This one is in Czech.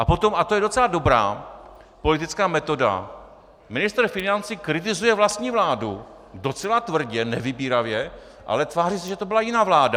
A potom, a to je docela dobrá politická metoda, ministr financí kritizuje vlastní vládu docela tvrdě, nevybíravě, ale tváří se, že to byla jiná vláda.